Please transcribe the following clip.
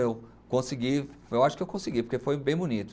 Eu consegui, eu acho que eu consegui, porque foi bem bonito.